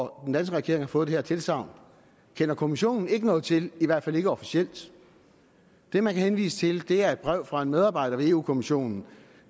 den danske regering har fået det her tilsagn kender kommissionen ikke noget til i hvert fald ikke officielt det man kan henvise til er et brev fra en medarbejder ved eu kommissionen